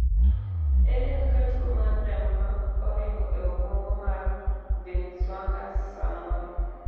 ere kaka tuo mar remo ma oringo e obwongo mar binswang'ers samoro